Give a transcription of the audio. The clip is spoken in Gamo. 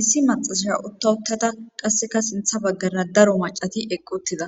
issi maxasaya uttawuttada qasseka sintha baggara daro macati eqquttida